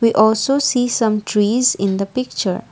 we also see some trees in the picture.